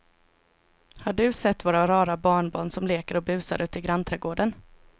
Har du sett våra rara barnbarn som leker och busar ute i grannträdgården!